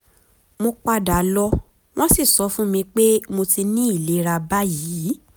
mo pada lọ wọn si sọ fun mi pe mo ti ni ìlera báyìí